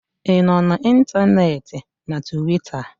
ị nọ na ntanetị na Tuweeta?